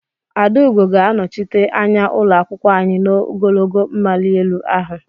Adaugo ga-anọchite anya ụlọ akwụkwọ anyị n'ogologo mmali elu ahụ.